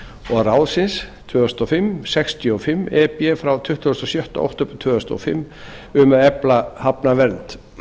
og ráðsins tvö þúsund og fimm sextíu og fimm e b frá tuttugasta og sjötta október tvö þúsund og fimm um að efla hafnavernd